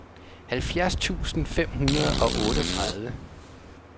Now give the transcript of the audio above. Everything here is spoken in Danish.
halvfjerds tusind fem hundrede og otteogtredive